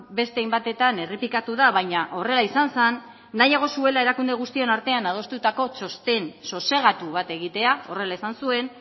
beste hainbatetan errepikatu da baina horrela izan zen nahiago zuela erakunde guztion artean adostutako txosten sosegatu bat egitea horrela esan zuen